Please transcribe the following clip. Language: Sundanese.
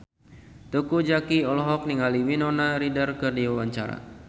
Teuku Zacky olohok ningali Winona Ryder keur diwawancara